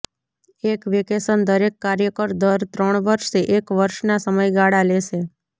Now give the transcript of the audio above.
એક વેકેશન દરેક કાર્યકર દર ત્રણ વર્ષે એક વર્ષના સમયગાળા લેશે